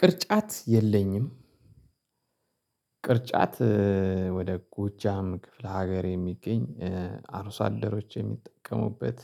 ቅርጫት የለኝም። ቅርጫት ወደ ጎጃም ክፍለ ሀገር የሚገኝ አርሶ አደሮች የሚጠቀሙበት።